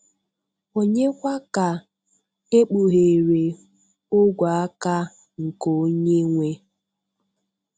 ònye kwa ka ekpughere ogwe-aka nke Onye-nwe?